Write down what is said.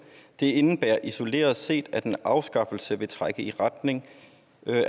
det indebærer isoleret set at en afskaffelse vil trække i retning